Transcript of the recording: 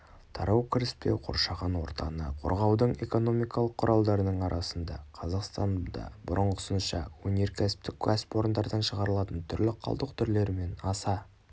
тарау кіріспе қоршаған ортаны қорғаудың экономикалық құралдарының арасында қазақстанда бұрынғысынша өнеркәсіптік кәсіпорындардан шығарылатын түрлі қалдық түрлері мен аса